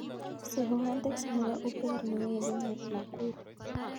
Sirwan teksi nebo uber newendi nakuru